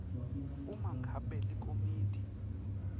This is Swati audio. uma ngabe likomiti